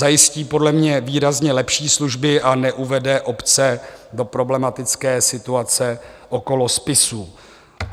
Zajistí podle mě výrazně lepší služby a neuvede obce do problematické situace okolo spisů.